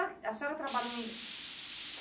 A senhora trabalhou em...?